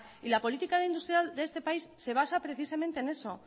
y la política industrial de este país se basa precisamente en eso